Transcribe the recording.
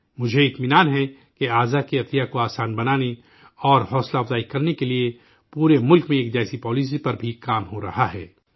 مجھے اطمینان ہے کہ آرگن ڈونیشن کو کو آسام بنانے اور ترغیب دینے کے لیے پورے ملک میں ایک جیسی پالیسی پر بھی کام ہو رہا ہے